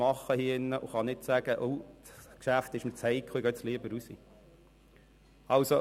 Man kann nicht sagen, dass das Geschäft zu heikel sei, weshalb man jetzt lieber nach draussen gehen wolle.